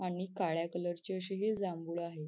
आणि काळ्या कलर ची अशी ही जांभूळ आहे.